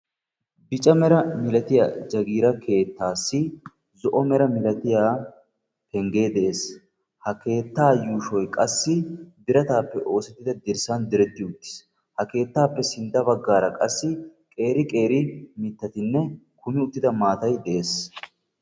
Bicca mera milatiyaa jagiiraa keettassi zo"o mera milatiya pengge de'ees. Ha keettaa yuushshoy qassi biratappe oosettida dirssan direrti uttiis. Ha keettappe sintta baggaara qassi qeeri qeeri mittatinne kummi uttida maatay de'ees.